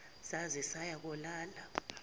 zaze zaya kolala